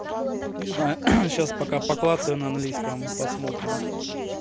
не знаю сейчас пока поклацаю на английском посмотрим